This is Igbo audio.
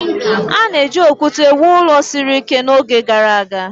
A na-eji okwute wuo ụlọ siri ike n'oge gara aga